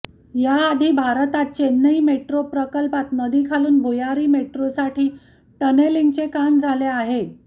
याआधी भारतात चेन्नई मेट्रो प्रकल्पात नदीखालून भुयारी मेट्रोसाठी टनेलिंगचे काम झाले आहे